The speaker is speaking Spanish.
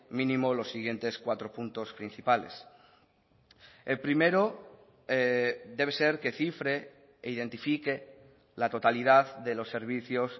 mínimo los siguientes cuatro puntos principales el primero debe ser que cifre e identifique la totalidad de los servicios